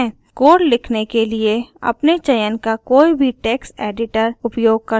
code लिखने के लिए अपने चयन का कोई भी टेक्स्ट एडिटर उपयोग कर सकते हैं